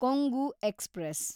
Kongu express